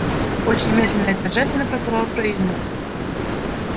очень медленно и торжественно прокурор произнёс